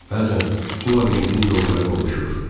Bəzən bu labirintin yolları qovuşur.